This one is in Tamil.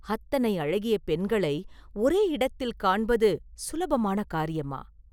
அத்தனை அழகிய பெண்களை ஒரே இடத்தில் காண்பது சுலபமான காரியமா?